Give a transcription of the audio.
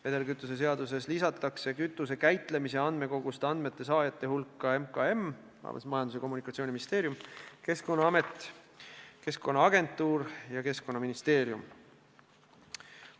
Vedelkütuse seaduses lisatakse kütuse käitlemise andmekogust andmete saajate hulka Majandus- ja Kommunikatsiooniministeerium, Keskkonnaamet, Keskkonnaagentuur ja Keskkonnaministeerium.